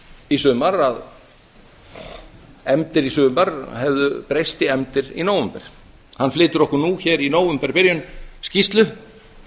í sumar að efndir í sumar hefðu breyst í efndir í nóvember hann flytur okkur nú hér í nóvemberbyrjun skýrslu